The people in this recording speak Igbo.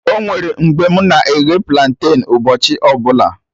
Onwere mgbe mụ na-eghe planten ụbọchị ọbụla